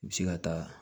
I bi se ka taa